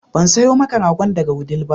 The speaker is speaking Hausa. Ban sayo maka ragon daga Wudil ba